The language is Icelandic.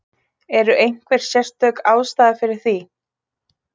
Er einhver sérstök ástæða fyrir því?